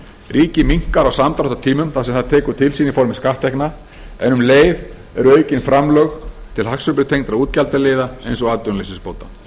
ríkið minnkar á samdráttartímum það sem það tekur til sín í formi skatttekna en um leið eru aukin framlög til hagsveiflutengdra útgjaldaliða eins og atvinnuleysisbóta